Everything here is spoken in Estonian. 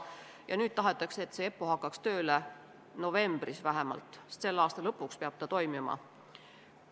Ja nüüd tahetakse, et EPPO hakkaks tööle hiljemalt novembris, sest selle aasta lõpuks peab ta tegutsema.